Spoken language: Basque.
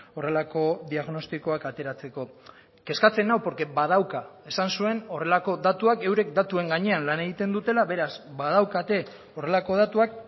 horrelako diagnostikoak ateratzeko kezkatzen nau porque badauka esan zuen horrelako datuak eurek datuen gainean lan egiten dutela beraz badaukate horrelako datuak